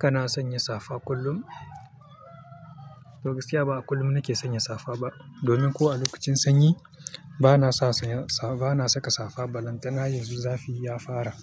Kana sanya safa kullum? Toh gaskiya ba a kullum nake sanya safa ba domin ko a lokacin sanyi bana saka safa balantana yanzu zafi ya fara.